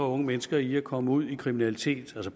unge mennesker i at komme ud i kriminalitet